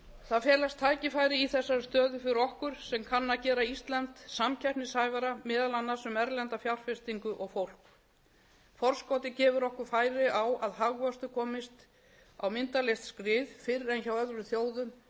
það felast tækifæri í þessari stöðu fyrir okkur sem kann að gera ísland samkeppnishæfara meðal annars um erlenda fjárfestingu og fólk forskotið gefur okkur færi á að hagvöxtur komist á myndarlegt skrið fyrr en hjá öðrum þjóðum ef við